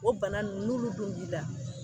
O bana ninnu n'olu dun b'i la